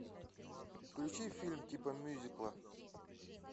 включи фильм типа мюзикла